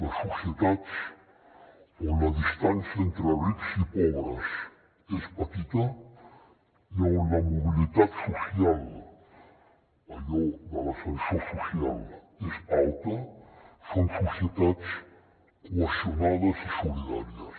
les societats on la distància entre rics i pobres és petita i on la mobilitat social allò de l’ascensor social és alta són societats cohesionades i solidàries